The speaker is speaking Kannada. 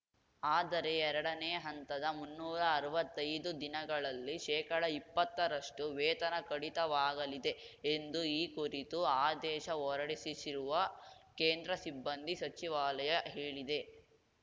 ಆದರೆ ಎರಡನೇ ಹಂತದ ಮುನ್ನೂರಾ ಅರ್ವತ್ತೈದು ದಿನಗಳಲ್ಲಿ ಶೇಕಡಇಪ್ಪತ್ತರಷ್ಟುವೇತನ ಕಡಿತವಾಗಲಿದೆ ಎಂದು ಈ ಕುರಿತು ಆದೇಶ ಹೊರಡಿಸಿಸಿರುವ ಕೇಂದ್ರ ಸಿಬ್ಬಂದಿ ಸಚಿವಾಲಯ ಹೇಳಿದೆ